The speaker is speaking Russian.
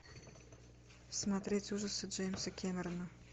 смотреть ужасы джеймса кэмерона